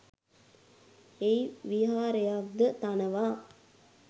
එහි විහාරයක්ද තනවා